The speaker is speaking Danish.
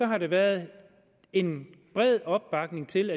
har der været en bred opbakning til